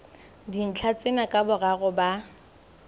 dintlha tsena ka boraro ba